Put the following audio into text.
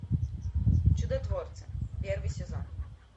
чудотворцы первый сезон